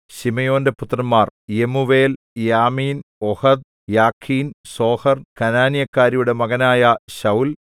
ശിമെയോന്റെ പുത്രന്മാർ യെമൂവേൽ യാമീൻ ഓഹദ് യാഖീൻ സോഹർ കനാന്യക്കാരിയുടെ മകനായ ശൌല്‍